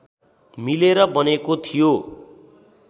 मिलेर बनेको थियो